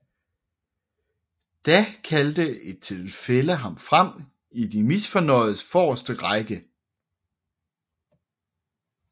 Da kaldte et tilfælde ham frem i de misfornøjedes forreste række